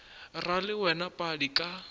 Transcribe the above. ra le wena padi ka